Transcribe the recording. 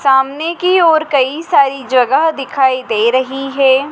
सामने की ओर कई सारी जगह दिखाई दे रही है।